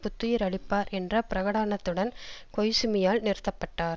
புத்துயிர் அளிப்பார் என்ற பிரகடானத்துடன் கொய்சுமியால் நிறுத்த பட்டார்